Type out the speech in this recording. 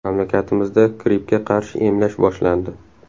Mamlakatimizda grippga qarshi emlash boshlandi.